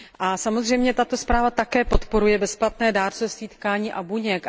A samozřejmě tato zpráva také podporuje bezplatné dárcovství tkání a buněk.